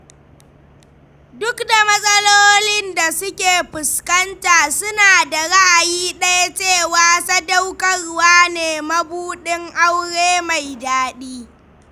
Duk da matsalolin da suke fuskanta, suna da ra'ayi ɗaya cewa sadaukarwa ne mabuɗin aure mai daɗi.